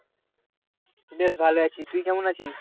বেশ ভালো আছি, তুই কেমন আছিস?